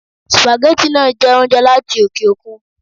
Spaghetti náà jẹ́ oúnjẹ láti oke òkun